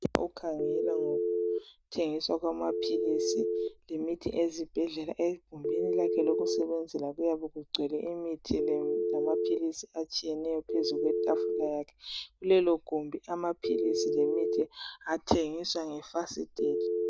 Okhangela ngokuthengiswa kwamaphilisi lemithi ezibhedlela ,egumbini lakhe lokusebenzela kuyabekugcwele imithi lamaphilisi atshiyeneyo phezulu kwetafula yakhe .Kulelo gumbi amaphilisi lemithi athengiswa ngefasitela.